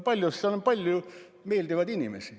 Seal on palju meeldivaid inimesi.